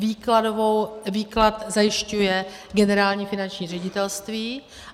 Výklad zajišťuje Generální finanční ředitelství.